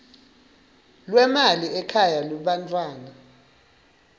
lwemali ekhaya lebantfwana